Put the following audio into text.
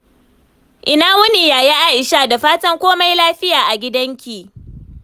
Ina wuni, Yaya Aisha? Da fatan komai lafiya a gidanki.